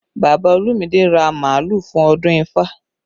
Bàbá Olumide ra màálù fún ọdún ifá